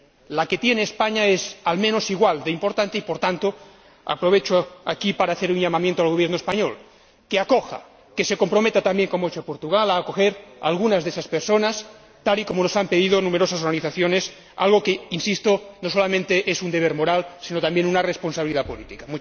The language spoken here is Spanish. La que tiene España es, al menos, igual de importante y, por tanto, aprovecho aquí para hacer un llamamiento al Gobierno español para que acoja, para que se comprometa también, como ha hecho Portugal, a acoger a algunas de esas personas, tal y como nos han pedido numerosas organizaciones, algo que, insisto, no solamente es un deber moral sino también una responsabilidad política.